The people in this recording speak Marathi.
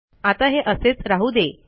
आता हे असेच राहू दे